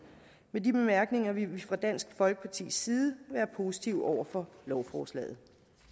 med de bemærkninger vil vi fra dansk folkepartis side være positive over for lovforslaget